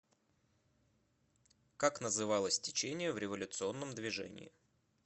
как называлось течение в революционном движении